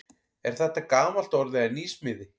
Er þetta gamalt orð eða nýsmíði?